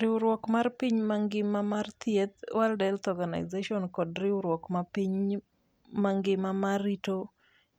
Riwruok mar piny mangima mar thieth (WHO) kod riwruok mar piny mangima ma rito